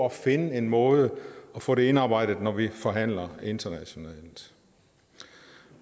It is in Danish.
at finde en måde at få det indarbejdet på når vi forhandler internationalt